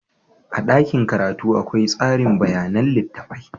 A dakin karatu akwai tsari bayanan littattafai.